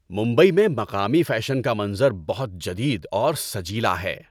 ممبئی میں مقامی فیشن کا منظر بہت جدید اور سجیلا ہے۔